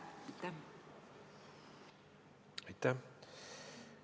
Aitäh!